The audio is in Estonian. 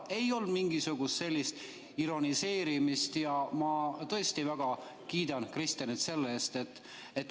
Ei olnud mingisugust ironiseerimist ja ma tõesti väga kiidan Kristenit selle eest.